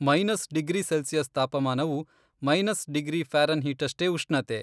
Minus degree Celsius ತಾಪಮಾನವು, minus degree ಫ್ಯಾರೆನ್ಹೀಟ್ನಷ್ಟೇ ಉಷ್ಣತೆ.